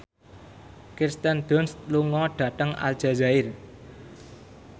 Kirsten Dunst lunga dhateng Aljazair